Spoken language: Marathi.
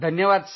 धन्यवाद